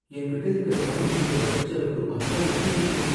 என்கிட்ட இருக்கிற பணம் இந்த வருஷச் செலவுக்கு பத்தாதுன்னு நினைக்கிறேன்